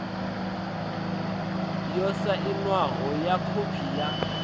yo sainwaho ya khophi ya